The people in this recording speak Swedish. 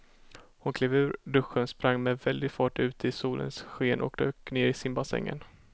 Hon klev ur duschen, sprang med väldig fart ut i solens sken och dök ner i simbassängen.